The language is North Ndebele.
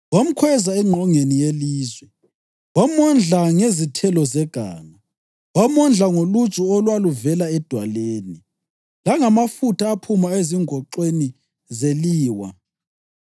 Wamkhweza engqongeni yelizwe wamondla ngezithelo zeganga. Wamondla ngoluju olwaluvela edwaleni, langamafutha aphuma ezingoxweni zeliwa,